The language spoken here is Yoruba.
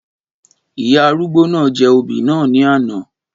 Ìyá arúgbó náà jẹ́ obì náà ní àná